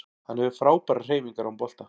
Hann hefur frábærar hreyfingar án bolta